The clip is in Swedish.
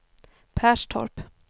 Perstorp